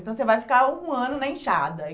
Então, você vai ficar um ano na enxada.